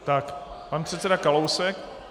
Tak pan předseda Kalousek.